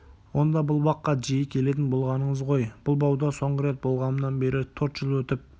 онда бұл баққа жиі келетін болғаныңыз ғой бұл бауда соңғы рет болғанымнан бері төрт жыл өтіп